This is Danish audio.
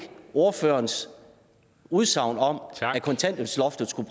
ordførerens udsagn om at kontanthjælpsloftet skulle